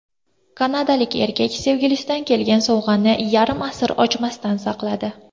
Kanadalik erkak sevgilisidan kelgan sovg‘ani yarim asr ochmasdan saqladi.